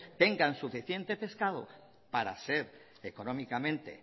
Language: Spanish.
tenga suficiente pescado para ser económicamente